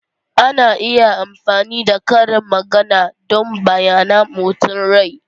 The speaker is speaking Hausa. Ana iya amfani da karin magana don bayyana motsin rai.